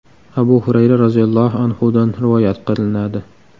Abu Hurayra roziyallohu anhudan rivoyat qilinadi.